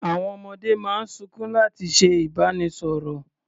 Àwọn ọmọdé máa ń sunkún láti ṣe ìbánisọ̀rọ̀.